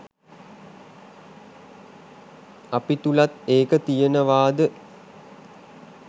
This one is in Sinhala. අපි තුළත් ඒක තියෙනවාද